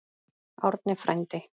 Árni frændi!